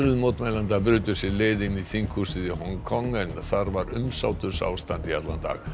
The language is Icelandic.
mótmælenda brutu sér leið inn í þinghúsið í Hong Kong en þar var umsátursástand í allan dag